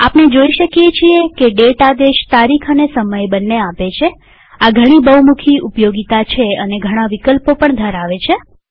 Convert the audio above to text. આપણે જોઈ શકીએ છીએ કે દાતે આદેશ તારીખ અને સમય બંને આપે છેઆ ઘણી બહુમુખી ઉપયોગીતા છે અને ઘણા વિકલ્પો પણ ધરાવે છે